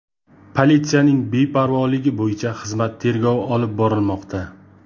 Politsiyaning beparvoligi bo‘yicha xizmat tergovi olib borilmoqda.